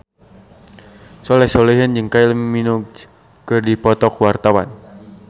Soleh Solihun jeung Kylie Minogue keur dipoto ku wartawan